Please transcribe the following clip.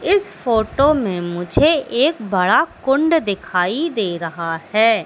इस फोटो में मुझे एक बड़ा कुंड दिखाई दे रहा है।